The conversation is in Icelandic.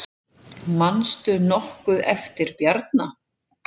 Manstu nokkuð eftir Bjarna?